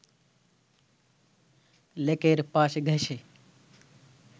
লেকের পাশ ঘেঁষে